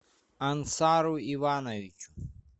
ансару ивановичу